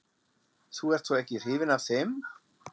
Þú ert þó ekki hrifin af þeim?